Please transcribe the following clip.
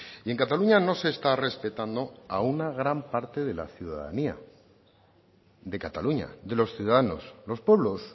y en cataluña no se está respetando a una gran parte de la ciudadanía de cataluña de los ciudadanos los pueblos